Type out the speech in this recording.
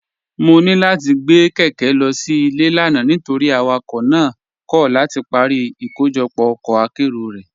Mọ̀ ní láti gbé kékè lọ sí ilẹ̀ lánà̀ nítorí awakọ̀ náà kọ̀ láti parí ìkọ̀jọpọ̀ ọkọ̀ àkéró rẹ́.